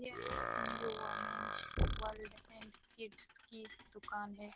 ''यह एक new women's world and kids की दुकान है।''